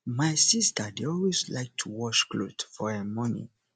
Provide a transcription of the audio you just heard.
my sister dey always like to wash cloth for um morning